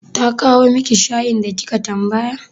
Ta kawo miki shayin da kika tambaya?